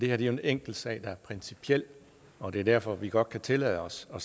er jo en enkeltsag der er principiel og det er derfor vi godt kan tillade os at